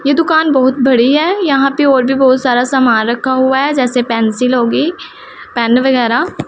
ये दुकान बहोत बड़ी है यहां पे और भी बहोत सारा सामान रखा हुआ है जैसे पेंसिल होगी पेन वगैरा--